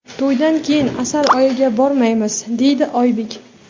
To‘ydan keyin asal oyiga bormaymiz”, deydi Oybek.